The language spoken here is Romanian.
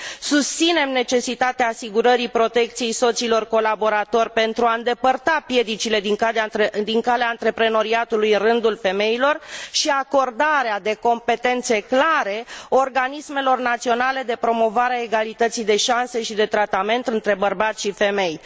Susținem necesitatea asigurării protecției soților colaboratori pentru a îndepărta piedicile din calea antreprenoriatului în rândul femeilor și acordarea de competențe clare organismelor naționale de promovare a egalității de șanse și de tratament între bărbați și femei.